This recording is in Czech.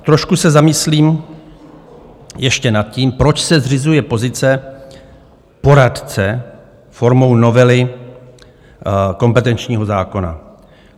Trošku se zamyslím ještě nad tím, proč se zřizuje pozice poradce formou novely kompetenčního zákona.